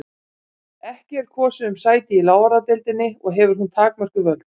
Ekki er kosið um sæti í lávarðadeildinni og hefur hún takmörkuð völd.